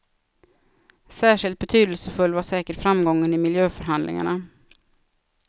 Särskilt betydelsefull var säkert framgången i miljöförhandlingarna.